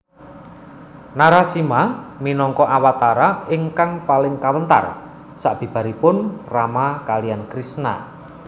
Narasimha minangka awatara ingkang paling kawentar sabibaripun Rama kaliyan Krisna